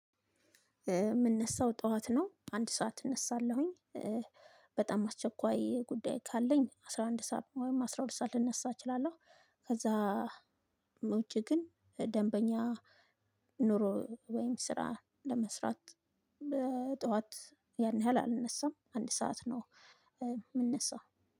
የምንነሳው ጠዋት ነው አንድ ሰዓት እነሳለሁኝ በጣም አስቸኳይ ጉዳይ ካለኝ አስራ አንድ ሰዓት ወይም አስራ ሁለት ሰዓት ልነሳ እችላለሁ። ከዛ ውጪ ግን ደንበኛ ኑሮ ወይም ስራ ለመስራት ጠዋት ያን ያህል አልነሳም። አንድ ሰዓት ነው የምንነሳው።